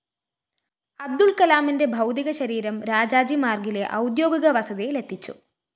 അബ്ദുള്‍ കലാമിന്റെ ഭൗതികശരീരം രാജാജി മാര്‍ഗിലെ ഔദ്യോഗിക വസതിയിലെത്തിച്ചു